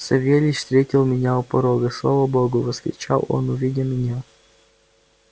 савельич встретил меня у порога слава богу вскричал он увидя меня